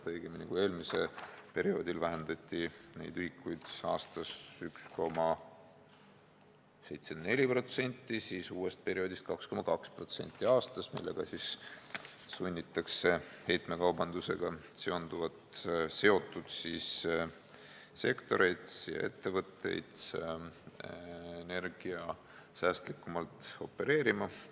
Õigemini, kui eelmisel perioodil vähendati neid ühikuid aastas 1,74%, siis uuel perioodil 2,2% aastas, ning selle kaudu sunnitakse heitekaubandusega seotud sektoreid ja ettevõtteid energiasäästlikumalt opereerima.